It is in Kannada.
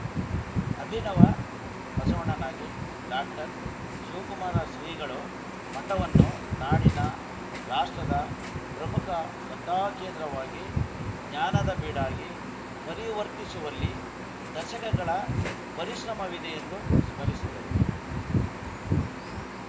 ಅಭಿನವ ಬಸವಣ್ಣನಾಗಿ ಡಾಕ್ಟರ್ ಶಿವಕುಮಾರ ಸ್ರಿಗಳು ಮಠವನ್ನು ನಾಡಿನ ರಾಷ್ಟ್ರದ ಪ್ರಮುಖ ಸ್ರದ್ಧಾಕೇಂದ್ರವಾಗಿ ಜ್ಞಾನದ ಬೀಡಾಗಿ ಪರಿವರ್ತಿಸುವಲ್ಲಿ ದಶಕಗಳ ಪರಿಸ್ರಮವಿದೆ ಎಂದು ಸ್ಮರಿಸಿದರು